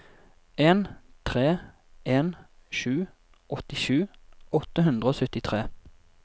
en tre en sju åttisju åtte hundre og syttitre